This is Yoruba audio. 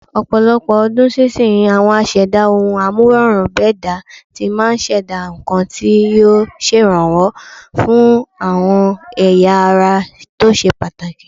Ọ̀pọ̀lọpọ̀ ọdún sísinyìí, àwọn aṣẹ̀dá ohun-amúrọ̀rùn-bẹ́dàá tí máa ṣẹ̀dá nǹkan tí yóò ṣèrànwó fáwọn ẹ̀yà ara tó ṣe pàtàkì.